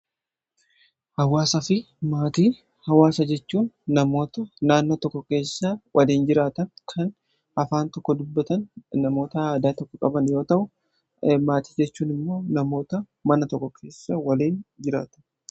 Hawwaasaa fi maatii hawwaasaa jechun, namoota naannoo tokko keessa waliin jiraatan kan Afaan tokko dubbatan, namoota aadaa tokko qaban yoo ta'u. Maatii jechuun immoo namoota mana tokko keessa waliin jiraatan jechuudha.